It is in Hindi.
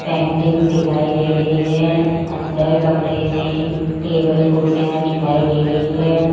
पेंटिंग्स दिखाई दे रही है अंदर कमरे में टेबल कुर्सियां दिखाई दे रही है।